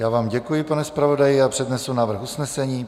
Já vám děkuji, pane zpravodaji, a přednesu návrh usnesení.